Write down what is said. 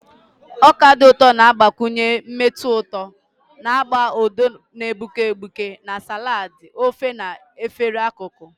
Ọka dị ụtọ na-agbakwụnye mmetụ ụtọ na agba odo na-egbuke egbuke na salads, ofe, na efere akụkụ.